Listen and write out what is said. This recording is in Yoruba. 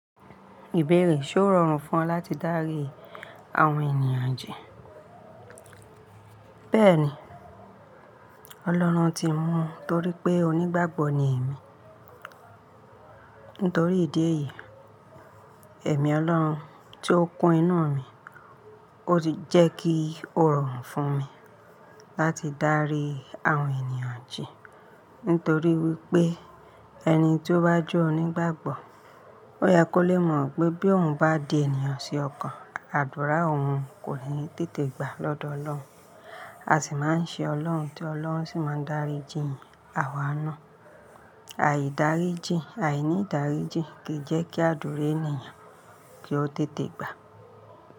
Ìbéèrè ṣe ó rọrùn fún ọ láti darí àwọn ènìyàn jẹ? Bẹ́ẹ̀ni, Ọlọ́run ti mú torí pé onígbàgbọ́ ni èmi. Nítorí ìdí èyí, ẹ̀mí Ọlọ́run tí ó kún inú mi, ó ti jẹ́ kí ó rọrùn fún mi láti darí àwọn ènìyàn jẹ. Nítorí wípé, ẹni tí ó bá jẹ́ onígbàgbọ́, ó yẹ kó lè mọ̀ pé bí òun bá di ènìyàn ṣe ọkàn àdúrà òun kò ní tètè gbà lọ́dọ̀ Ọlọ́run. A sì máa ń ṣe Ọlọ́run tí Ọlọ́run sì máa ń darí ìjìnyì àwa náà. Àìdáríjì, àìnídáríjì kì í jẹ́ kí àdúrà ènìyàn kọ tètè gbà.